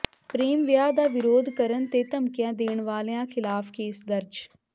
ਪ੍ਰੇਮ ਵਿਆਹ ਦਾ ਵਿਰੋਧ ਕਰਨ ਤੇ ਧਮਕੀਆਂ ਦੇਣ ਵਾਲਿਆਂ ਖ਼ਿਲਾਫ਼ ਕੇਸ ਦਰਜ